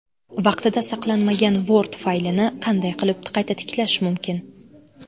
Vaqtida saqlanmagan Word faylini qanday qilib qayta tiklash mumkin?.